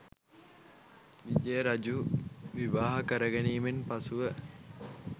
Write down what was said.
විජය රජු විවාහ කරගැනීමෙන් පසුව